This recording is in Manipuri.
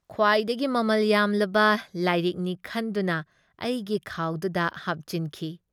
ꯈꯨꯋꯥꯏꯗꯒꯤ ꯃꯃꯜ ꯌꯥꯝꯂꯕ ꯂꯥꯏꯔꯤꯛꯅꯤ ꯈꯟꯗꯨꯅ ꯑꯩꯒꯤ ꯈꯥꯎꯗꯨꯗ ꯍꯥꯞꯆꯤꯟꯈꯤ ꯫